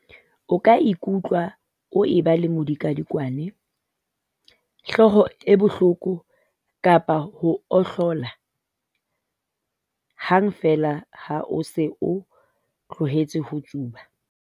O ka ikutlwa o eba le modikwadikwane, hlooho e bohloko kapa ho ohlola hang feela ha o se o tlohetse ho tsuba.